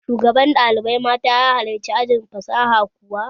Shugaban ɗalibai mata halarci ajin fasaha kuwa?